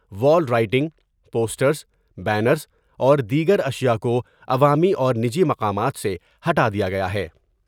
وال writing, posters, banners اور دیگر اشیاء کوعوامی اور نجی مقامات سے ہٹادیا گیا ہے ۔